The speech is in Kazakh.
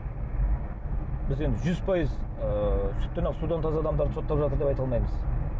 біз енді жүз пайыз ыыы сүттен ақ судан таза адамдарды соттап жатыр деп айта алмаймыз